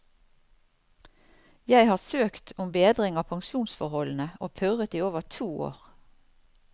Jeg har søkt om bedring av pensjonsforholdene og purret i over to år.